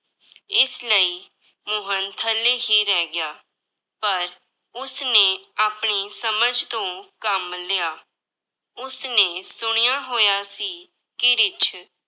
ਇਸ ਲਈ ਮੋਹਨ ਥੱਲੇ ਹੀ ਰਹਿ ਗਿਆ, ਪਰ ਉਸਨੇ ਆਪਣੀ ਸਮਝ ਤੋਂ ਕੰਮ ਲਿਆ, ਉਸਨੇ ਸੁਣਿਆ ਹੋਇਆ ਸੀ ਕਿ ਰਿੱਛ